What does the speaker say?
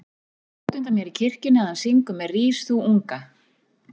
Ég sé útundan mér í kirkjunni að hann syngur með Rís þú unga